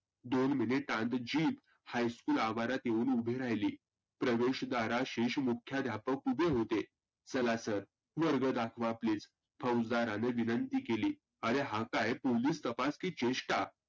दोन मिनीटांत Jeep high school आवारात येऊन उभी राहिली. प्रवेश दाराशी मुख्यध्यापक उभे होते. चला sir वर्ग दाखवा please फौजदाराने विनंती केली. आरे हा काय पोलीस तपास की चेष्टा?